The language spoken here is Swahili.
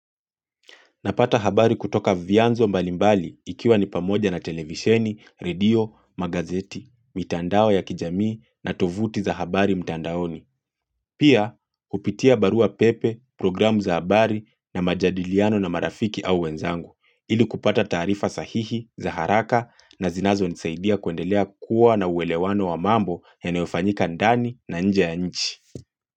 Napata habari kutoka vyanzo mbalimbali ikiwa ni pamoja na televisheni, redio, magazeti, mitandao ya kijamii na tovuti za habari mtandaoni. Pia hupitia barua pepe, programu za habari na majadiliano na marafiki au wenzangu ili kupata taarifa sahihi, za haraka na zinazo nisaidia kuendelea kuwa na uelewano wa mambo yanayofanyika ndani na nje ya nchi.